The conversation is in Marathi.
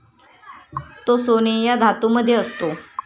तो सोने या धातू मध्ये असतो.